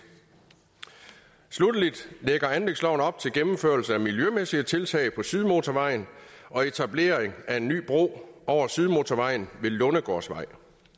sluttelig lægger anlægsloven op til gennemførelse af miljømæssige tiltag på sydmotorvejen og etablering af en ny bro over sydmotorvejen ved lundegårdsvej